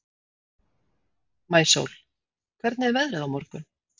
Maísól, hvernig er veðrið á morgun?